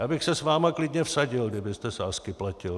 Já bych se s vámi klidně vsadil, kdybyste sázky platil.